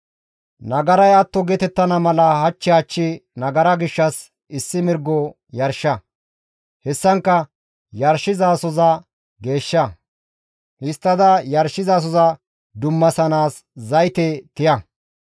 «Nagaray atto geetettana mala hach hach nagara gishshas issi mirgo yarsha. Hessankka yarshizasoza geeshsha; histtada yarshizasoza dummaththanaas zayte tiya.